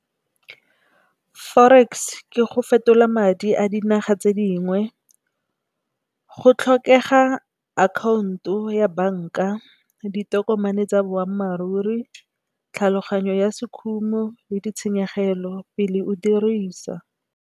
Forex ke go fetola madi a dinaga tse dingwe. Go tlhokega akhaonto ya banka ditokomane tsa boammaaruri tlhaloganyo ya se khumo le ditshenyegelo pele o e dirisa.